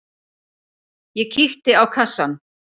Ég kíkti á kassann.